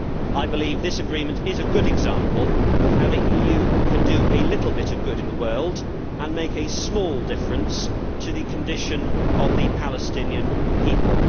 I believe this agreement is a good example of how the EU can do a little bit of good in the world and make a small difference to the condition of the Palestinian people.